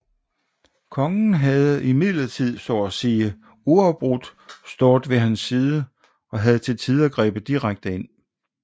Kongen havde imidlertid så at sige uafbrudt stået ved hans side og havde til tider grebet direkte ind